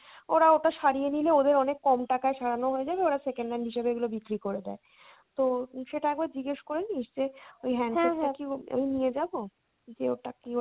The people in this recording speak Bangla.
ওরা ওটা সারিয়ে নিলে ওদের অনেক কম টাকায় সারানো হয়ে যাবে ওরা second hand হিসেবে এগুলো বিক্রি করে দেয়। তো সেটা একবার জিজ্ঞেস করে নিস যে ওই handset টা কি আমি নিয়ে যাবো? যে ওটা কি